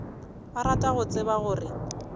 ba rata go tseba gore